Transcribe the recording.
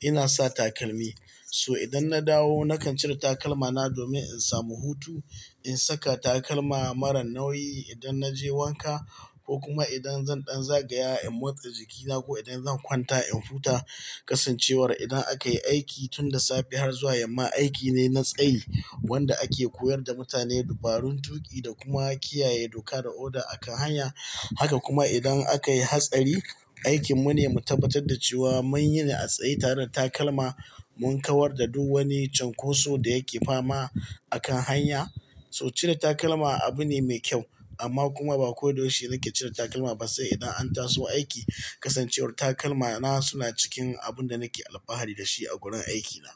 ina sa takalmi. So idan na dawo nakan cire takalma na domin in samu hutu, in saka takalma marar nauyi idan na je wanka ko kuma idan zan ɗan zagaya in motsa jikina ko idan zan kwanta in huta. Kasancewar idan akayi aiki tun da safe har zuwa yamma, aiki ne na tsayi wanda ake koyar da mutane dabarun tuƙi da kuma kiyaye doka da oda akan hanya. Haka kuma idan aka yi hatsari, aikin mu ne mu tabbatar da cewa mun yi na tsaye tare da takalma, mun kawar da duk wani cunkoso da yake fama akan hanya. So cire takalma abu ne me kyau amma kuma ba ko da yaushe nake cire takalma ba sai idan an taso aiki. Kasancewar takalma na suna cikin abun da nake alfahari da shi a wurin aikina.